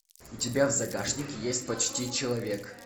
у тебя в загашнике есть почти человек